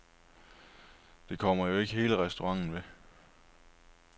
Det kommer jo ikke hele restauranten ved.